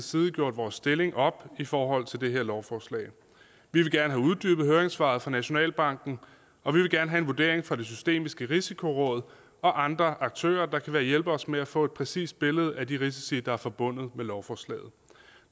side gjort vores stilling op i forhold til det her lovforslag vi vil gerne have uddybet høringssvaret fra nationalbanken og vi vil gerne have en vurdering fra det systemiske risikoråd og andre aktører der kan hjælpe os med at få et præcist billede af de risici der er forbundet med lovforslaget